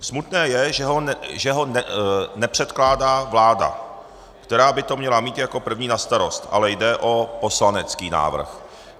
Smutné je, že ho nepředkládá vláda, která by to měla mít jako první na starost, ale jde o poslanecký návrh.